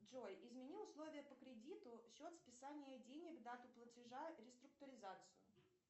джой измени условия по кредиту счет списания денег дату платежа реструктуризацию